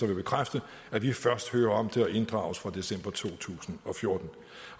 vil bekræfte at vi først hører om det og inddrages fra december to tusind og fjorten